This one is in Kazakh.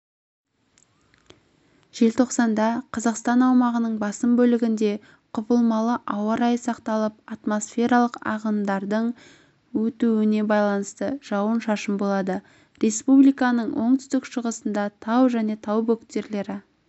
желтоқсанда қазақстан аумағының басым бөлігінде құбылмалы ауа райы сақталып атмосфералық ағындардың өтуіне байланысты жауын-шашын болады республиканың оңтүстік-шығысында тау және тау бөктерлі